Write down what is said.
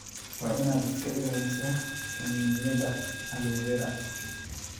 Waa inaad iska ilaalisaa kiniiniyada aloe vera.